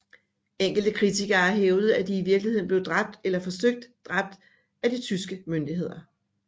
Enkelte kritikere har hævdet at de i virkeligheden blev dræbt eller forsøgt dræbt af de tyske myndigheder